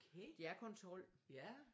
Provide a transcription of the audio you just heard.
De er kun 12